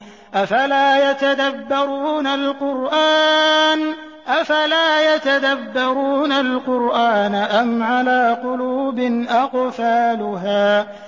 أَفَلَا يَتَدَبَّرُونَ الْقُرْآنَ أَمْ عَلَىٰ قُلُوبٍ أَقْفَالُهَا